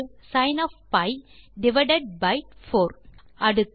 sin of pi divided by 4 அடுத்தது